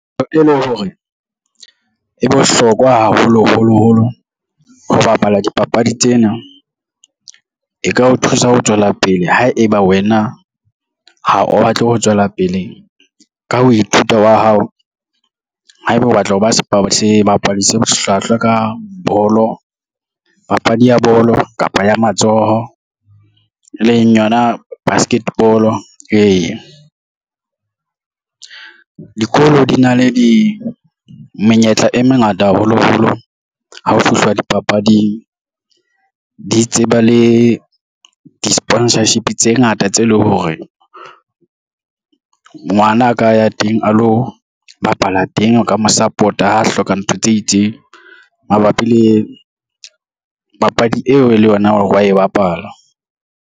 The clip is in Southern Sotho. Ntho e le hore e bohlokwa haholoholo holo ho bapala dipapadi tsena e ka o thusa ho tswela pele ha eba wena ha o batle ho tswela pele ka ho ithuta wa hao haeba o batla ho ba ebapadi se hlwahlwa ka bolo papadi ya bolo kapa ya matsoho e leng yona basket ball ee, dikolo di na le di menyetla e mengata haholoholo ha ho fihlwa dipapading di tseba le di-sponsorship tse ngata tse leng hore ngwanaka ya teng a lo bapala teng o ka mo support-a hloka ntho tse itseng mabapi le papadi eo e le yona wa e bapala.